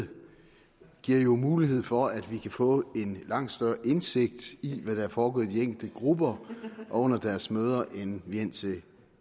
giver mulighed for at vi kan få en langt større indsigt i hvad der er foregået i de enkelte grupper og under deres møder end vi indtil